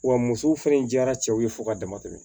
Wa musow fɛnɛ diyara cɛw ye fo ka dama tɛmɛ